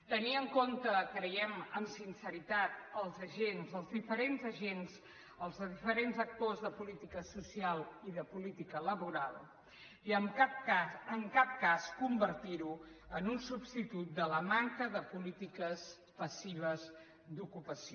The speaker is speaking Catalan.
tenir en compte creiem amb sinceritat els agents els diferents agents els diferents actors de política social i de política laboral i en cap cas en cap cas convertir ho en un substitut de la manca de polítiques passives d’ocupació